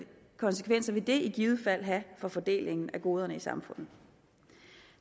konsekvenser vil det i givet fald have for fordelingen af goderne i samfundet